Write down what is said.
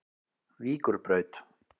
Víkurbraut